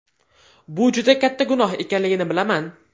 Bu juda katta gunoh ekanligini bilaman!